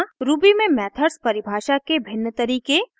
ruby में methods परिभाषा के भिन्न तरीके